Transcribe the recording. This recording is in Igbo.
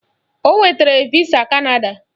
O nwetara visa Kanada